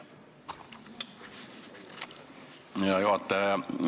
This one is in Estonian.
Hea juhataja!